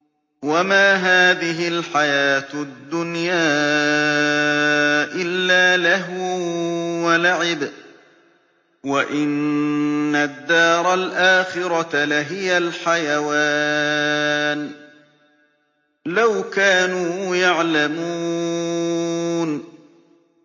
وَمَا هَٰذِهِ الْحَيَاةُ الدُّنْيَا إِلَّا لَهْوٌ وَلَعِبٌ ۚ وَإِنَّ الدَّارَ الْآخِرَةَ لَهِيَ الْحَيَوَانُ ۚ لَوْ كَانُوا يَعْلَمُونَ